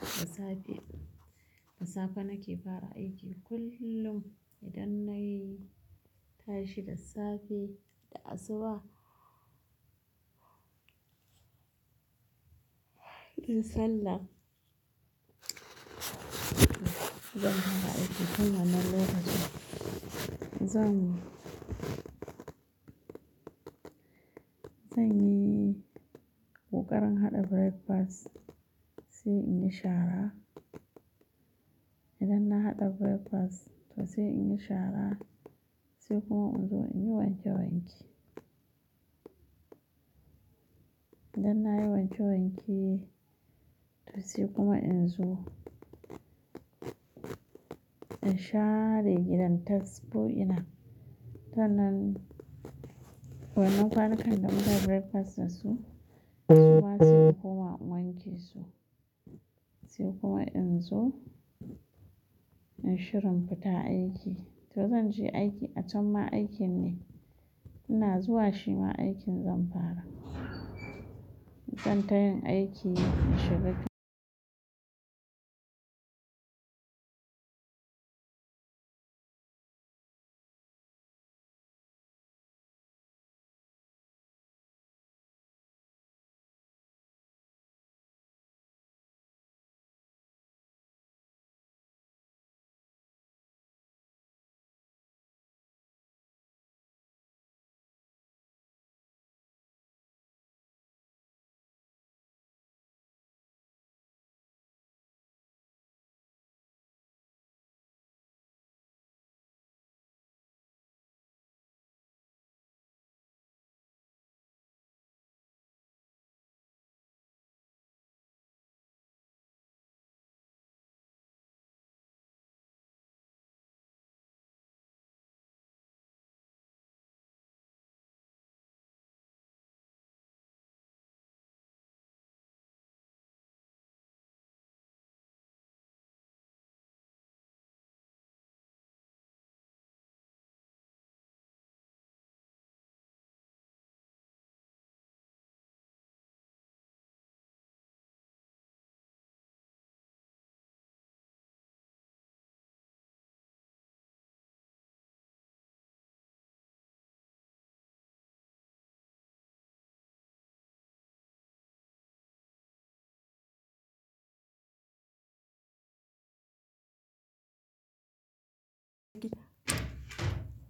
Da safe, da safe nake fara aiki kullum idan na yi tashi da safe da asuba. Sallah, zan fara aiki. Hanyar nan lokacin zan yi, zan yi ƙoƙarin haɗa breakfast sai in yi shara. Idan na haɗa breakfast to sai in yi shara sai kuma in zo in yi wanke wanke. Idan na yi wanke wanke to sai kuma in zo na share gidan task ɗin ina. Sannan, wannan ƙwanukan da muka yi breakfast da su, su ma sai koma in wanke su. Sai kuma in zo in shirin fita aiki. To zan je aiki, a can ma aikin ne. Ina zuwa shi ma aikin zan fara. Zan tayin aiki in shiga gida.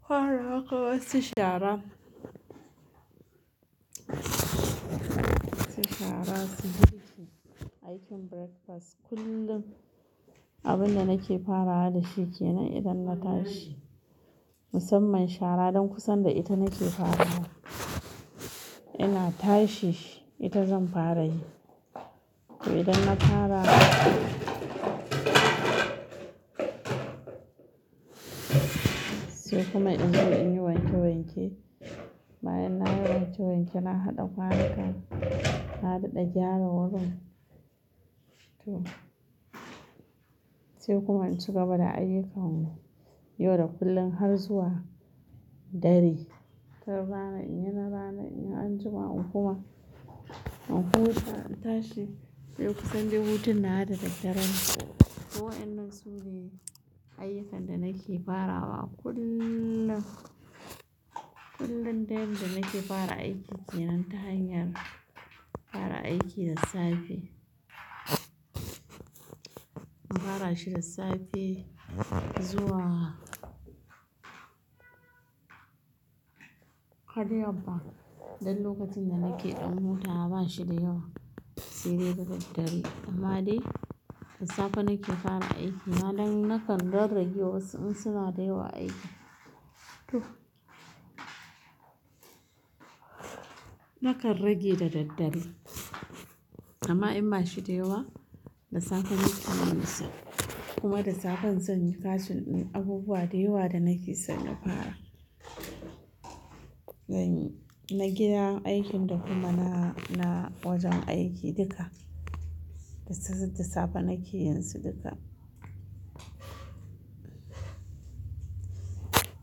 Farawaƙa wasu shara. Wasu shara su bi ki aikin breakfast. Kullum abin da nake farawa da shi ke nan idan na tashi. Musamman shara ɗan kusan da ita nake farawa. Ina tashi ita zan fara yi. To idan na fara sai kuma in zo in yi wanke wanke. Bayan na yi wanke wanke na haɗa ƙwanukan, na daɗa gyara wurin. To sai kuma in ci gaba da ayyukana. Yau da kullum har zuwa dare. Tun rana ina rana, in an jima in kuma, in huta in tashi. Sai kusan dai hutun na nawa da daren. Waɗannan su ne ayyukan da nake farawa kullum. Kullum ta yadda nake fara aiki kenan ta hanyar fara aiki da safe na fara shi da safe zuwa har yamma ba. Dan lokacin da nake ɗan huta ba shi da yawa. Sai dai da daddare. Amma dai da safe nake fara aiki. Na ɗan nakan ɗan rage wasu in suna da yawa aiki. To. Nakan rage da daddare. Amma in bashi da yawa, da safe nake yin su. Kuma da safe zan yi kashin in abubuwa da yawa da nake so na fara. Zan yi na gidan aikin da kuma na, na wajen aiki duka. Da safe nake yin su duka.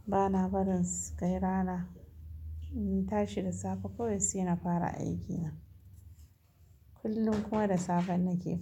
Bana barin su kai rana. In na tashi da safe kawai sai na fara aikina. Kullum kuma da safe nake fara.